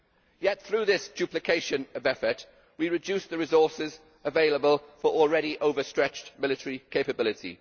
Yet through this duplication of effort, we reduce the resources available for already overstretched military capability.